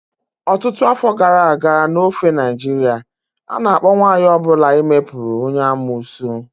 Ọtụtụ afọ gara aga n'ofe Naịjirịa, a na-akpọ nwanyị ọ bụla ime putu onye amuosu